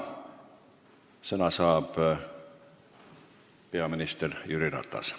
Sõna saab peaminister Jüri Ratas.